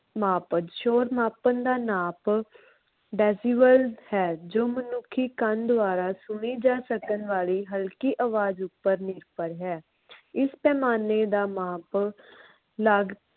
ਮਾਪਣ ਸ਼ੋਰ ਮਾਪਣ ਦਾ ਨਾਪ decibel ਹੈ ਜੋ ਮਨੁੱਖੀ ਕੰਨ ਦੁਆਰਾ ਸੁਣੀ ਜਾ ਸਕਣ ਵਾਲੀ ਹਲਕੀ ਆਵਾਜ ਉਪਰ ਨਿਰਭਰ ਹੈ। ਇਸ ਪੈਮਾਨੇ ਦਾ ਮਾਪ